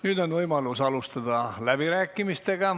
Nüüd on võimalus alustada läbirääkimisi.